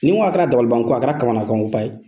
N'i n ko a kɛra dalibanko ye a kɛra kamanakanko ba ye